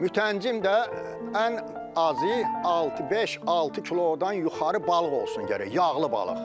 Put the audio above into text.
Mütəncim də ən azı altı-beş, altı kilodan yuxarı balıq olsun gərək, yağlı balıq.